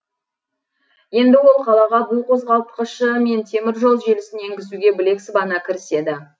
енді ол қалаға бу қозғалтқышы мен теміржол желісін енгізуге білек сыбана кіріседі